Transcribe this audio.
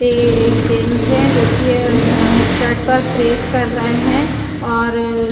पे एक जेंस है जो कि शर्ट पर प्रेस कर रहे हैं और --